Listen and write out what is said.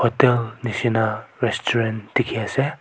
etu nisna restaurant dekhi ase.